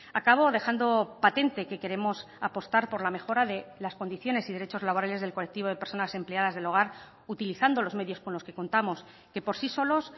acabo dejando patente que queremos apostar por la mejora de las condiciones y derechos laborales del colectivo de personas empleadas del hogar utilizando los medios con los que contamos que por sí solos